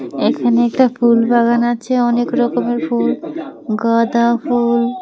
এখানে একটা ফুলবাগান আছে অনেক রকমের ফুল গাঁদা ফুল।